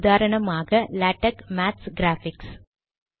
உதாரணமாக LaTeX maths graphics